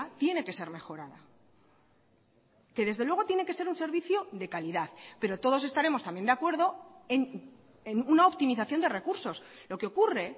tiene que ser mejorada que desde luego tiene que ser un servicio de calidad pero todos estaremos también de acuerdo en una optimización de recursos lo que ocurre